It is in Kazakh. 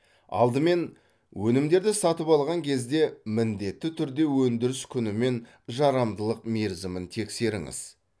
алдымен өнімдерді сатып алған кезде міндетті түрде өндіріс күні мен жарамдылық мерзімін тексеріңіз